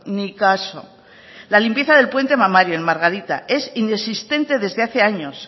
ni caso la limpieza del puente mamario en margarita es inexistente desde hace años